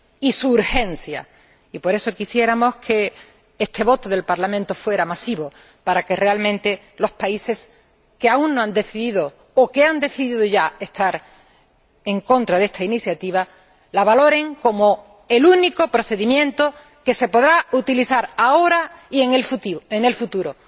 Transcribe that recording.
Y defendemos también su urgencia. Por eso quisiéramos que este voto del Parlamento fuera masivo, para que realmente los países que aún no han decidido o que han decidido ya estar en contra de esta iniciativa la valoren como el único procedimiento que se podrá utilizar ahora y en el futuro.